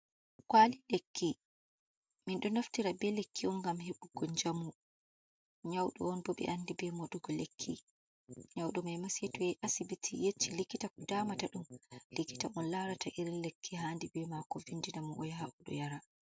Kwali lekki. Minɗo naftira be lekki on ngam heɓugo njamu. Nyauɗo on bo ɓe andi be moɗugo lekki nyauɗo maima saito yahi asibiti yecci likita ko damata ɗum, likita on larata irin lekki hani be mako. Vindinamo o yaha oɗo yara.